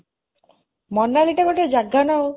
ମନାଲି ଟା ଗୋଟେ ଜାଗା ନା ଆଉ